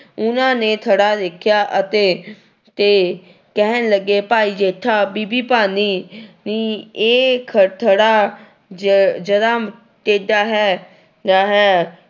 ਉਹਨਾਂ ਨੇ ਥੜਾ ਦੇਖਿਆ ਅਤੇ ਤੇ ਕਹਿਣ ਲੱਗੇ ਭਾਈ ਜੇਠਾ ਬੀਬੀ ਭਾਨੀ ਨੀ ਇਹ ਖ ਥੜਾ ਜ ਜ਼ਰਾ ਟੇਢਾ ਹੈ ਹੈ।